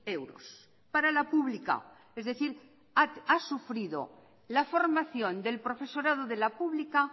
euros para la pública es decir ha sufrido la formación del profesorado de la pública